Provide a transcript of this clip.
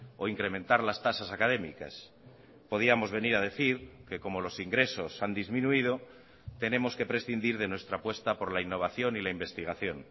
o incrementar las tasas académicas podíamos venir a decir que como los ingresos han disminuido tenemos que prescindir de nuestra apuesta por la innovación y la investigación